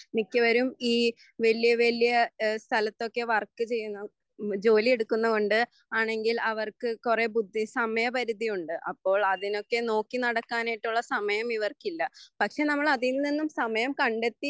മിക്കവരും ഈ വലിയ വലിയ സ്ഥലത്തൊക്കെ വർക്കുചെയ്യുന്നു ജോലിയെടുക്കുന്നതുകൊണ്ട് അവർക്ക്‌കുറെ സമയപരുത്തിയുണ്ട് അപ്പോൾ അതിനൊക്കെ നോക്കിനടക്കാനായിട്ടുള്ള സമയമിവർക്കില്ല പക്ഷെ നമ്മൾ അതിൽനിന്നും സമയംകണ്ടെത്തി